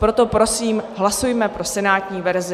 Proto prosím, hlasujme pro senátní verzi.